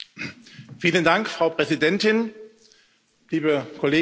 Frau Präsidentin, liebe Kolleginnen und Kollegen!